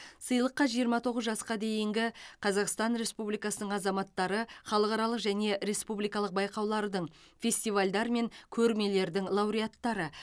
сыйлыққа жиырма тоғыз жасқа дейінгі қазақстан республикасының азаматтары халықаралық және республикалық байқаулардың фестивальдар мен көрмелердің лауреаттары